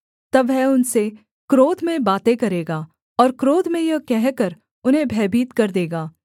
तब वह उनसे क्रोध में बातें करेगा और क्रोध में यह कहकर उन्हें भयभीत कर देगा